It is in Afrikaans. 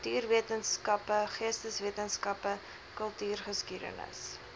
natuurwetenskappe geesteswetenskappe kultuurgeskiedenis